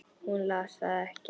Hún las það ekki.